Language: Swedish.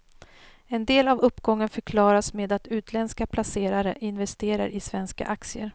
En del av uppgången förklaras med att utländska placerare investerar i svenska aktier.